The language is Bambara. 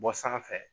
Bɔ sanfɛ